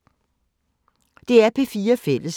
DR P4 Fælles